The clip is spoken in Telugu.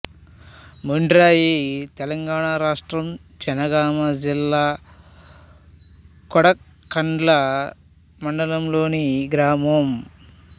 మొండ్రాయి తెలంగాణ రాష్ట్రం జనగామ జిల్లా కొడకండ్ల మండలంలోని గ్రామం